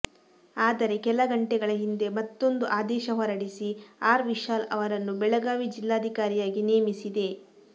ಆದರೆ ಕೆಲ ಗಂಟೆಗಳ ಹಿಂದೆ ಮತ್ತೊಂದು ಆದೇಶ ಹೊರಡಿಸಿ ಆರ್ ವಿಶಾಲ್ ಅವರನ್ನು ಬೆಳಗಾವಿ ಜಿಲ್ಲಾಧಿಕಾರಿಯಾಗಿ ನೇಮಿಸಿದೆ